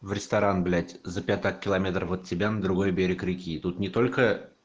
в ресторан блять за пятак километров от тебя на другой берег реки тут не только